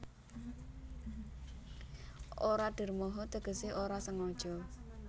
Ora dermoho tegese ora sengaja